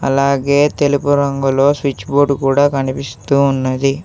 అలాగే తెలుపు రంగులో స్విచ్ బోర్డు కూడా కనిపిస్తూ ఉన్నది.